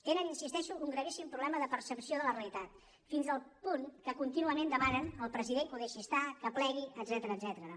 tenen hi insisteixo un gravíssim problema de percepció de la realitat fins al punt que contínuament demanen al president que ho deixi estar que plegui etcètera